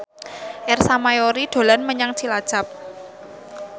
Ersa Mayori dolan menyang Cilacap